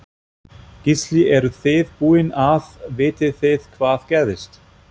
Gísli eruð þið búin að, vitið þið hvað gerðist?